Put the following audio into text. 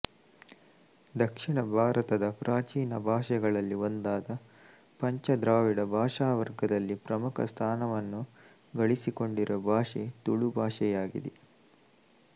ದಕ್ಷಿಣ ಭಾರತದ ಪ್ರಾಚೀನ ಭಾಷೆಗಳಲ್ಲಿ ಒಂದಾದ ಪಂಚ ದ್ರಾವಿಡ ಭಾಷಾ ವರ್ಗದಲ್ಲಿ ಪ್ರಮುಖ ಸ್ಥಾನವನ್ನು ಗಳಿಸಿಕೊಂಡಿರುವ ಭಾಷೆ ತುಳು ಭಾಷೆಯಾಗಿದೆ